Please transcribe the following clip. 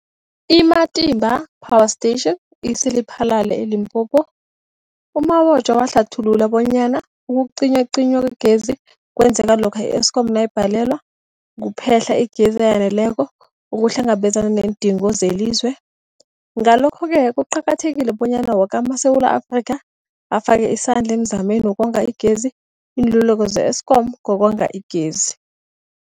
I-Matimba Power Station ise-Lephalale, eLimpopo. U-Mabotja wahlathulula bonyana ukucinywacinywa kwegezi kwenzeka lokha i-Eskom nayibhalelwa kuphe-hla igezi eyaneleko ukuhlangabezana neendingo zelizwe. Ngalokho-ke kuqakathekile bonyana woke amaSewula Afrika afake isandla emizameni yokonga igezi. Iinluleko ze-Eskom ngokonga igezi.